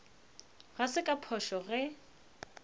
ga se ka phošo ge